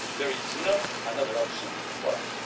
There is not another option for